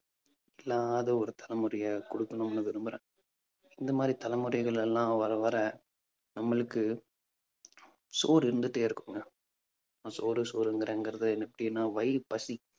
இல்லாத ஒரு தலைமுறையை கொடுக்கணும்னு விரும்புறேன் இந்த மாதிரி தலைமுறைகள் எல்லாம் வர வர நம்மளுக்கு சோறு இருந்துட்டே இருக்குங்க. சோறு சோறுங்கறேங்கறது எப்படின்னா வயிறு பசி